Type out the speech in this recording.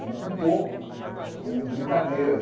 E com pouco, com brincadeiras.